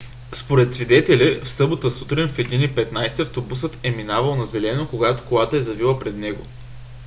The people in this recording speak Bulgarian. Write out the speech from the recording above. според свидетели в събота сутрин в 1:15 автобусът е минавал на зелено когато колата е завила пред него